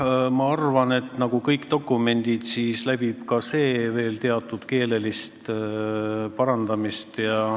Jah, ma arvan, et nagu kõikide dokumentide puhul parandatakse ka seda teksti veel keeleliselt.